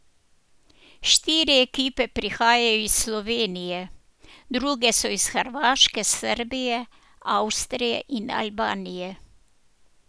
Štiri ekipe prihajajo iz Slovenije, druge so iz Hrvaške, Srbije, Avstrije in Albanije.